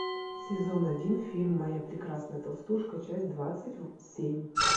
сезон один фильм моя прекрасная толстушка часть двадцать семь